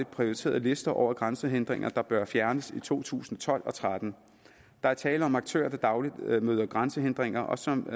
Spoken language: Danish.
prioriteret liste over grænsehindringer der bør fjernes i to tusind og tolv og tretten der er tale om aktører der daglig møder grænsehindringer og som